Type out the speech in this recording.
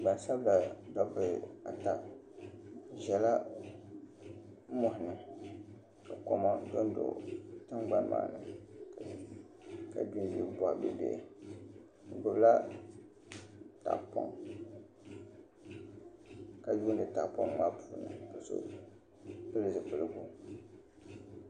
Gbansabila ata bi ʒɛla moɣani ka koma piɛ n do tingbani maa ni ka bi gbubila tahapoŋ ka yuundi tahapoŋ maa puuni gbingbi boɣa bihi bihi